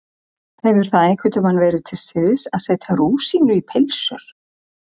Hefur það einhvern tíma verið til siðs að setja rúsínu í pylsur?